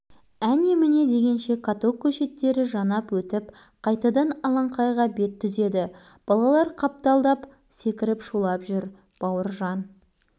бауыржан бұл сөздерді елең қылған жоқ катокты тоқтатпақ болып әр рычагты бір тартып барады